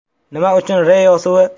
Nima uchun ReO suvi?